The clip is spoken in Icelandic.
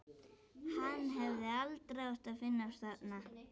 Hann hefði aldrei átt að finnast þarna.